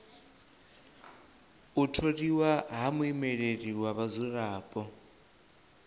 u tholiwa ha muimeleli wa vhadzulapo